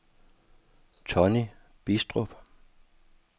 Tonny Bidstrup